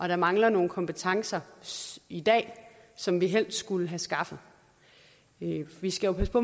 der mangler nogle kompetencer i dag som vi helst skulle have skaffet vi skal jo passe på